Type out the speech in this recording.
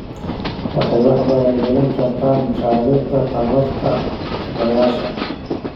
Waxay wax badan gelin kartaa mashaariicda tamarta dabaysha.